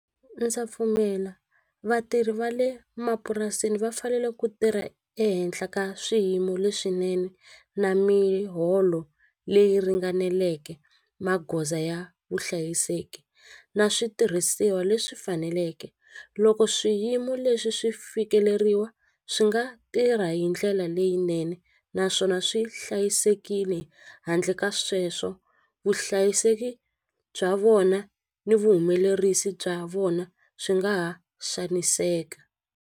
Ndza pfumela vatirhi va le mapurasini va fanele ku tirha ehenhla ka swiyimo leswinene na miholo leyi ringaneleke magoza ya vuhlayiseki na switirhisiwa leswi faneleke loko swiyimo leswi swi fikeleriwa swi nga tirha hindlela leyinene naswona swi hlayisekile handle ka sweswo vuhlayiseki bya vona ni vuhumelerisi bya vona swi nga ha xaniseka.